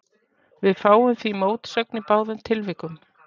Við fáum því mótsögn í báðum tilvikum.